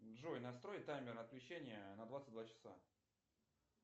джой настрой таймер отключения на двадцать два часа